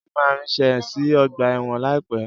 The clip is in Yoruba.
Jídé máa ríṣẹ́ see ọgbà ẹ̀wọ̀n láìpẹ́.